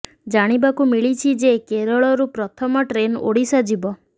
ଜାଣିବାକୁ ମିଳିଛି ଯେ କେରଳରୁ ପ୍ରଥମ ଟ୍ରେନ୍ ଓଡିଶା ଯିବ